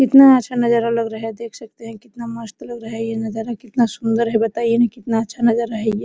कितना अच्छा नजारा लग रहा है देख सकते है कितना मस्त लग रहा है ये नजारा कितना सुन्दर है बताइए न कितना अच्छा नजारा है ये।